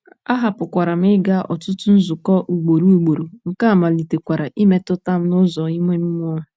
Ahapụkwara m ịga ọtụtụ nzukọ ugboro ugboro, nke a malitekwara imetụta m n'ụzọ ime mmụọ.